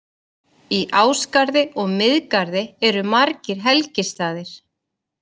Í Ásgarði og Miðgarði eru margir helgistaðir.